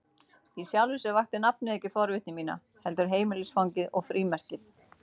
Í sjálfu sér vakti nafnið ekki forvitni mína, heldur heimilisfangið og frímerkið.